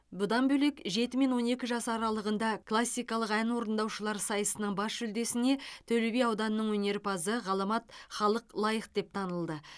бұдан бөлек жеті он екі жас аралығында классикалық ән орындаушылар сайысының бас жүлдесіне төлеби ауданының өнерпазы ғаламат халық лайық деп танылды